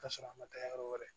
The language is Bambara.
K'a sɔrɔ a ma taa yɔrɔ wɛrɛ